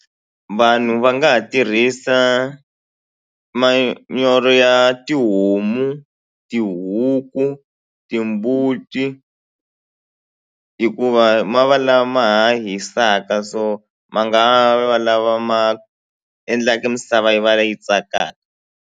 Vanhu va nga ha tirhisa manyoro ya tihomu, tihuku, timbuti hikuva ma va lama ma ha hisaka so ma nga va lava ma endlaka misava yi va leyi tsakaka.